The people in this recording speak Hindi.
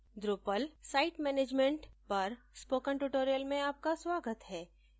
drupal site management पर spoken tutorial में आपका स्वागत है